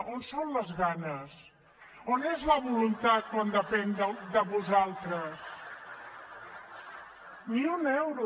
on són les ganes on és la voluntat quan depèn de vosaltres ni un euro